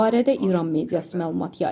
Bu barədə İran mediası məlumat yayıb.